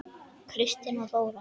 Kristín og Þóra.